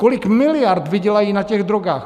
Kolik miliard vydělají na těch drogách...